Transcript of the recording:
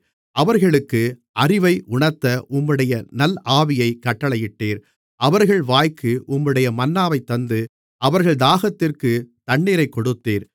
அவர்களுக்கு அறிவை உணர்த்த உம்முடைய நல் ஆவியைக் கட்டளையிட்டீர் அவர்கள் வாய்க்கு உம்முடைய மன்னாவை தந்து அவர்கள் தாகத்திற்குத் தண்ணீரைக் கொடுத்தீர்